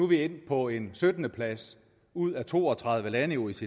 vi endt på en syttende plads ud af to og tredive lande i oecd